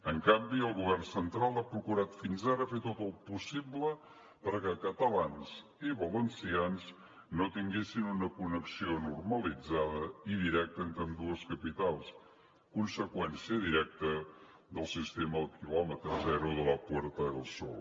en canvi el govern central ha procurat fins ara fer tot el possible perquè catalans i valencians no tinguessin una connexió normalitzada i directa entre ambdues capitals conseqüència directa del sistema del quilòmetre zero de la puerta del sol